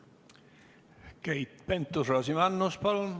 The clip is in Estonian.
Keit Pentus-Rosimannus, palun!